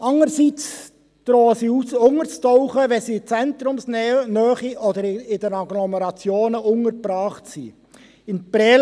Sind sie aber in Zentrumsnähe oder in der Agglomeration untergebracht sind, drohen sie unterzutauchen.